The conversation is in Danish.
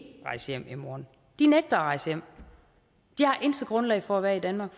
rejse hjem i morgen de nægter at rejse hjem de har intet grundlag for at være i danmark